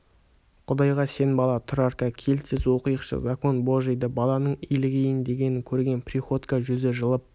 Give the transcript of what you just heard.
құдайға сен бала тұрарка кел тез оқиықшы закон божийді баланың илігейін дегенін көрген приходько жүзі жылып